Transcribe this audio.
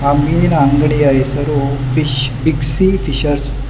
ಆ ಮೀನಿನ ಅಂಗಡಿ ಹೆಸರು ಫಿಶ್ ಬಿಗ್ ಸಿ ಫಿಷಸ್ --